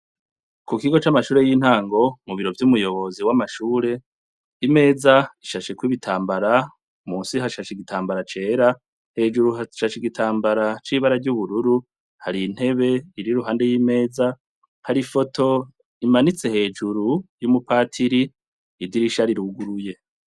Ku kigo c'amashure y'intango, mu biro vy'umuyobozi w'amashure, imeza ishasheko ibitambara; munsi hashashe igitambara cera, hejuru hashashe igitambara c'ibara ry'ubururu, hari intebe iri iruhande y'imeza, hari ifoto imanitse hejuru, y'umupatiri, idirisha riruguruye.